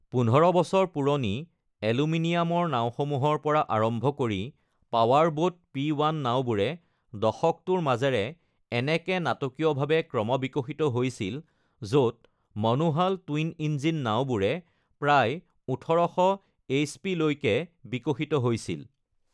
১৫ বছৰ পুৰণি এলুমিনিয়ামৰ নাওসমূহৰ পৰা আৰম্ভ কৰি পাৱাৰবোট পি১ নাওবোৰে দশকটোৰ মাজেৰে এনেকে নাটকীয়ভাৱে ক্ৰমবিকশিত হৈছিল য'ত মনো-হাল টুইন ইঞ্জিন নাওবোৰে প্ৰায় ১৮০০ এইচপিলৈকে বিকশিত হৈছিল।